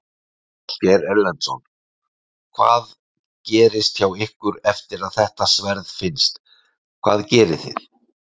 Ásgeir Erlendsson: Hvað gerist hjá ykkur eftir að þetta sverð finnst, hvað gerið þið?